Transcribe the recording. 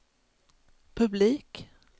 publik